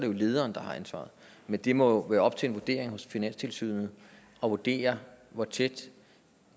jo lederen der har ansvaret men det må være op til finanstilsynet at vurdere hvor tæt